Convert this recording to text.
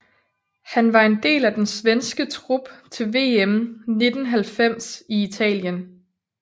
Han var en del af den svenske trup til VM 1990 i Italien